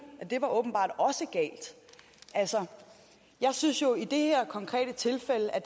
og åbenbart også galt altså jeg synes jo i det her konkrete tilfælde er